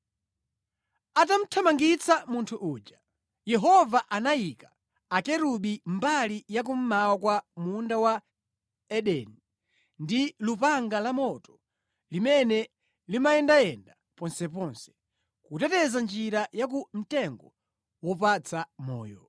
Atamuthamangitsa munthu uja, Yehova anayika Akerubi mbali ya kummawa kwa Munda wa Edeni ndi lupanga lamoto limene limayendayenda ponsepo, kuteteza njira ya ku mtengo wopatsa moyo.